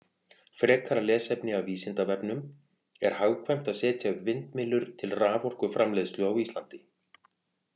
Frekara lesefni af Vísindavefnum: Er hagkvæmt að setja upp vindmyllur til raforkuframleiðslu á Íslandi?